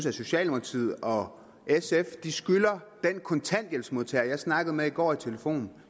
og socialdemokratiet og sf skylder den kontanthjælpsmodtager jeg snakkede med i går i telefonen